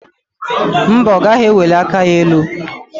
Mba, ọ gaghị eweli aka ya elu.